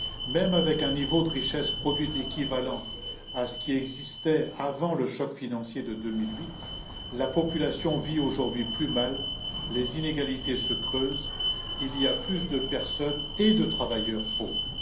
Même avec un niveau de richesse produite équivalant à ce qui existait avant le choc financier de 2008, la population vit aujourd'hui plus mal, les inégalités se creusent, il y a plus de personnes et de travailleurs pauvres.